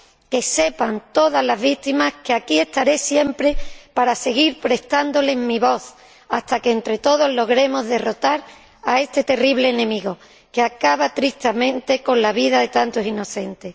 ¡Que sepan todas las víctimas que aquí estaré siempre para seguir prestándoles mi voz, hasta que, entre todos, logremos derrotar a este terrible enemigo, que acaba tristemente con la vida de tantos inocentes!